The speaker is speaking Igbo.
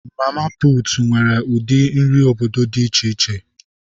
Mama putu nwere ụdị nri obodo dị iche iche.